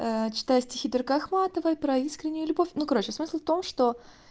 ээ читать стихи ахматовой про искреннюю любовь ну короче смысл в том что